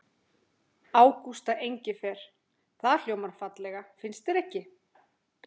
Ágústa Engifer. það hljómar fallega, finnst þér ekki?